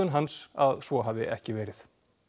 hans að svo hafi ekki verið